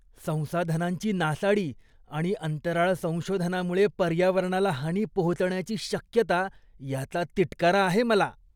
संसाधनांची नासाडी आणि अंतराळ संशोधनामुळे पर्यावरणाला हानी पोहोचण्याची शक्यता, याचा तिटकारा आहे मला.